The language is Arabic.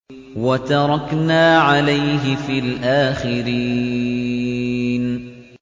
وَتَرَكْنَا عَلَيْهِ فِي الْآخِرِينَ